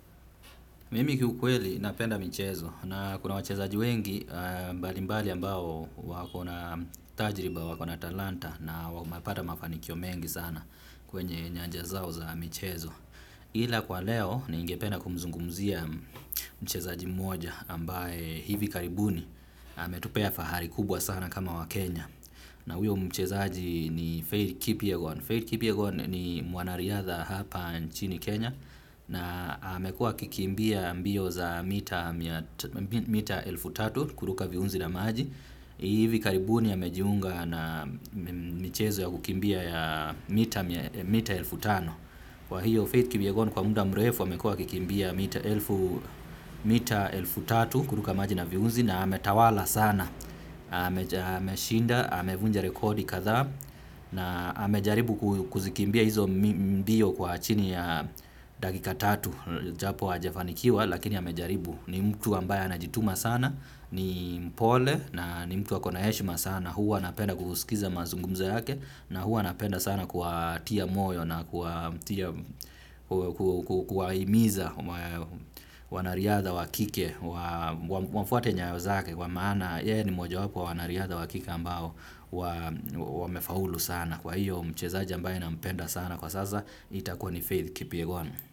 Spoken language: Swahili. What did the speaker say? Mimi kiukweli napenda michezo na kuna wachezaji wengi mbali mbali ambao wako na tajriba, wako na talanta na wamepata mafanikio mengi sana kwenye nyanja zao za michezo. Ila kwa leo ningependa kumzungumzia mchezaji mmoja ambaye hivi karibuni ametupea fahari kubwa sana kama wakenya. Na huyo mchezaji ni Faith Kipyagon. Faith Kipi Kipyagon ni mwanariadha hapa nchini Kenya na amekuwa akikimbia mbio za mita elfu tatu kuruka viunzi na maji. Hivi karibuni amejiunga na michezo ya kukimbia ya mita elfu tano. Kwa hiyo fFaith Kipyagon kwa muda mrefu amekua akikimbia mita elfu mita elfu tatu kuruka maji na viunzi na ametawala sana, ameshinda, amevunja rekodi kadhaa na amejaribu kuzikimbia hizo mbio kwa chini ya dakika tatu japo hajafanikiwa lakini amejaribu. Ni mtu ambaye anajituma sana, ni mpole na ni mtu ako na heshima sana, huwa napenda kuusikiza mazungumzo yake na huwa napenda sana kuwatia moyo na kuwahimiza wanariadha wa kike, wafuate nyayo zake kwa maana, yeye ni mojawapo wa wanariadha wa kike ambao, wamefaulu sana kwa hiyo mchezaji ambaye nampenda sana kwa sasa itakuwa ni faith kipyagon.